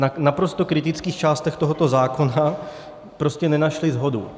V naprosto kritických částech tohoto zákona prostě nenašla shodu.